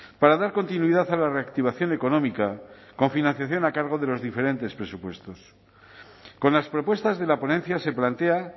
para dar continuidad a la reactivación económica con financiación a cargo de los diferentes presupuestos con las propuestas de la ponencia se plantea